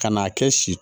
Ka n'a kɛ si si